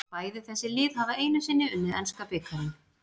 Bæði þessi lið hafa einu sinni unnið enska bikarinn.